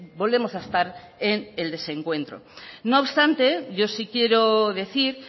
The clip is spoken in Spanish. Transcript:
volvemos a estar en el desencuentro no obstante yo sí quiero decir